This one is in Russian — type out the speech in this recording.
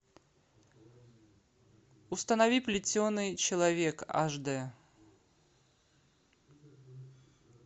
установи плетеный человек ашдэ